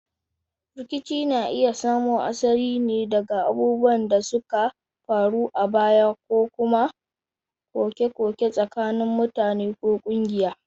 Rikici na iya samo asali ne daga abubuwan da suka faru a baya ko kuma koke-koke tsakanin mutane ko kungiya.